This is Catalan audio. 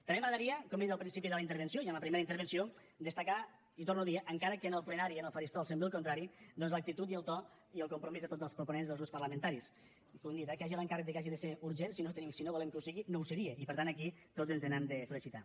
també m’agradaria com he dit en el principi de la intervenció i en la primera intervenció destacar i ho torno a dir eh encara que en el plenari en el faristol sembla el contrari doncs l’actitud i el to i el compromís de tots els proponents dels grups parlamentaris que hi hagi l’encàrrec que hagi de ser urgent si no volem que ho sigui no ho seria i per tant aquí tots ens n’hem de felicitar